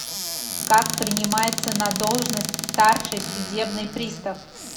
как принимается на должность старший судебный пристав